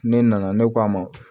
Ne nana ne k'a ma